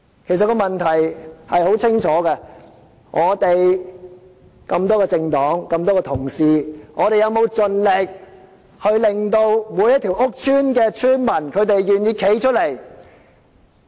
其實，問題是清楚可見的，這裡有多個政黨、眾多同事，我們有否盡力令每一個屋邨的邨民願意站出來呢？